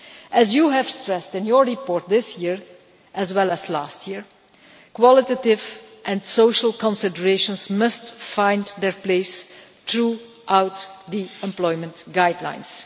As you stressed in your report this year, as well as last year, qualitative and social considerations must find their place throughout the employment guidelines.